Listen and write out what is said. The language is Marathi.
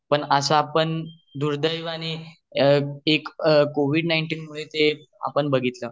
पण अश्या दुर्द्यावाने आणि एक कोविड नाइनटीन मुळे आपण बाघितले